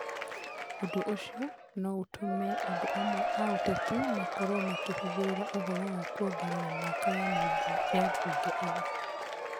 Ũndũ ũcio no ũtũme andũ amwe a ũteti makorũo makĩhithĩrĩra ũhoro wa kuongerera mĩaka ya mbunge ĩno.